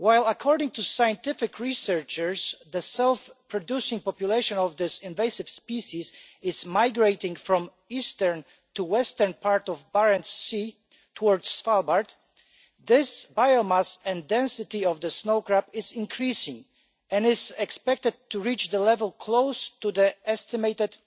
According to scientific researchers, the self producing population of this invasive species is migrating from the eastern to western part of Barents Sea towards Svalbard. The biomass and density of the snow crab is increasing and is expected to reach a level close to the estimated